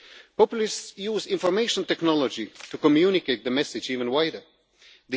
the EU. Populists use information technology to communicate the message even more